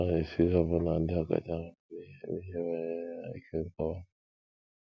Ọ na - esiri ọbụna ndị ọkachamara n’ihe n’ihe banyere ya ike nkọwa.